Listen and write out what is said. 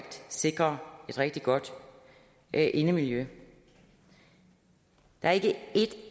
sikre et rigtig godt indemiljø der er ikke et